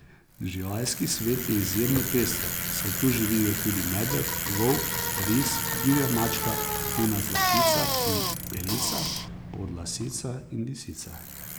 Živalski svet je izjemno pester, saj tu živijo tudi medved, volk, ris, divja mačka, kuna zlatica in belica, podlasica in lisica.